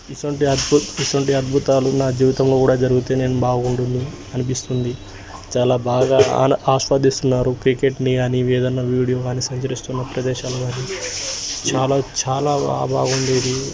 దాంట్లో ఒక wooden spoon చెక్క స్పూన్ తినడానికి అతను తీసుకున్నాడు . అదే విదంగా ఎర్రగడ్డలు తరిగి దాంట్లో పక్కన పెట్టుకున్నాడు